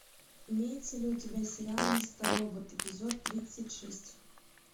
имеется ли у тебя сериал мистер робот эпизод тридцать шесть